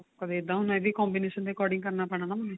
ਕਦੀ ਇੱਦਾਂ ਇਹ ਵੀ combination ਦੇ according ਕਰਨਾ ਪੈਣਾ ਨਾ ਮੈਨੂੰ